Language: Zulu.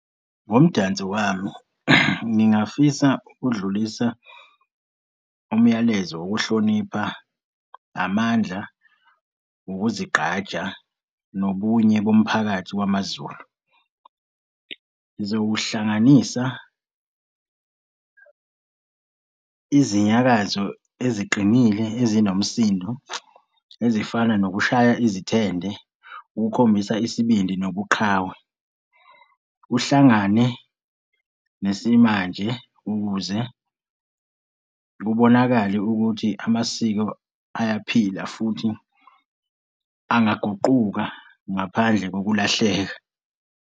Ngomdanso wami, ngingafisa ukudlulisa umyalezo wokuhlonipha namandla, ukuzigqaja, nobunye bomphakathi wamaZulu. Ngizowuhlanganisa izinyakazayo eziqinile ezinomsindo ezifana nokushaya izithende, ukukhombisa isibindi nobuqhawe. Kuhlangane nesimanje ukuze kubonakale ukuthi amasiko ayaphila futhi angaguquka ngaphandle kokulahleka.